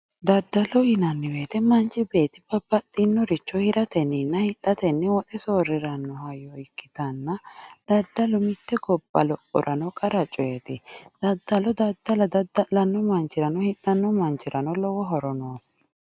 Daddalo yinanni woyiite manchi beetti babbaxinnoricho hiratenninna hidhatenni woxe soorriranno hayyo ikkitanna daddalu mitte gobba lophorano qara coyeeti. Daddalo daddala dadda'lanno manchirano hidhanno manchirano lowo horo noosi.